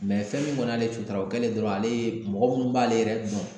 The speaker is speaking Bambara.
fɛn min kɔni y'ale sutara o kɛlen dɔrɔn ale ye mɔgɔ minnu b'ale yɛrɛ dɔn